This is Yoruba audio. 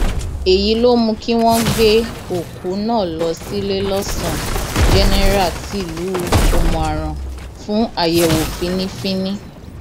èyí ló mú kí wọn gbé òkú náà lọ síléelọsàn jẹnẹra tìlú òmùaran fún àyẹwò fínnífínní